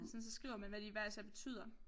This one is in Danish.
Sådan så skriver man hvad de hver især betyder